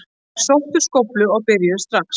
Þær sóttu skóflur og byrjuðu strax.